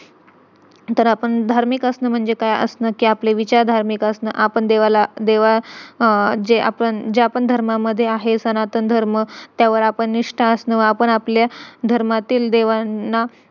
तर आपण धार्मिक असणं म्हणजे काय असणं कि आपले विचार धार्मिक असणं आपण देवाला ज्या पण धर्मामध्ये आहे सनातन धर्म त्यावर आपण निष्ठा असणं आपण आपले धर्मातील देवांना